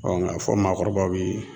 Ɔ nga fɔ maakɔrɔbaw bi